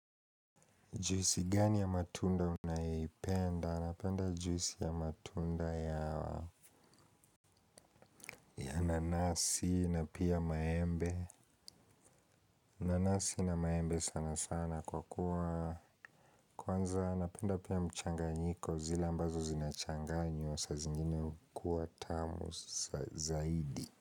Juisi gani ya matunda unayoipenda? Napenda juisi ya matunda ya nanasi na pia maembe. Nanasi na maembe sana sana kwa kuwa kwanza napenda pia mchanganyiko zile ambazo zinachanganywa. Saa zingine hukuwa tamu zaidi.